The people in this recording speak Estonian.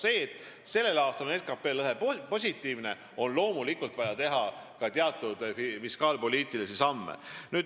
Kuna sellel aastal on SKT lõhe positiivne, on loomulikult vaja teha ka teatud fiskaalpoliitilisi samme.